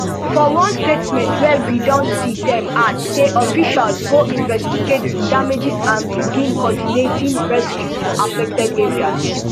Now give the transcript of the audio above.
for one statement wey we don see dem add say officials go investigate di damages and begin coordinating rescues for affected areas